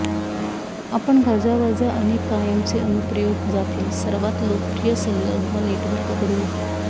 आपण गाजावाजा अनेक कायमचे अनुप्रयोग जातील सर्वात लोकप्रिय संलग्न नेटवर्क करू